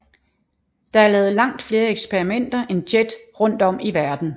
Der er lavet langt flere eksperimenter end JET rundt om i verden